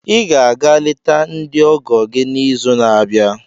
Ị ga-aga leta ndị ọgọ gị n'izu na-abịa.